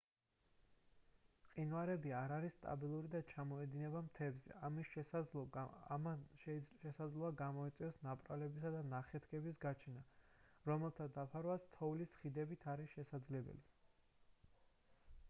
მყინვარები არ არის სტაბილური და ჩამოედინება მთებზე ამან შესაძლოა გამოიწვიოს ნაპრალების და ნახეთქების გაჩენა რომელთა დაფარვაც თოვლის ხიდებით არის შესაძლებელი